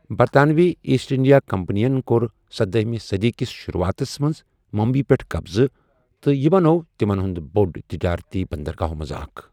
برطانوی East India Company یَن کوٚر سداہٕمہِ صٔدی کِس شروٗوعاتس منٛز ممبئیہِ پٮ۪ٹھ قبضہٕ، تہٕ یہِ بنٛوٚو تِمن ہُنٛد بٔڑۍ تجٲرتی بندرگاہَو منٛز اکھ ۔